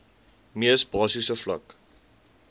mees basiese vlak